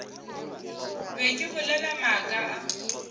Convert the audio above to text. be ke bolela maaka a